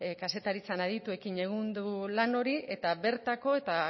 kazetaritzan adituekin egin dugu lan hori eta bertako eta